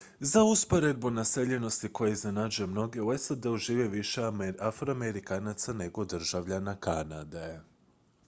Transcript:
za usporedbu naseljenosti koja iznenađuje mnoge u sad-u živi više afroamerikanaca nego državljana kanade